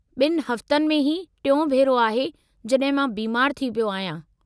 ॿिनि हफ़्तनि में ही टियों भेरो आहे जड॒हिं मां बीमारु थी पियो आहियां।